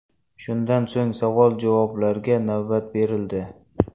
Shundan so‘ng savol-javoblarga navbat berildi.